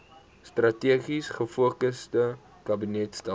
strategies gefokusde kabinetstelsel